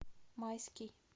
майский